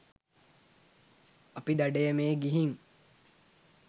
අපි දඩයමේ ගිහින්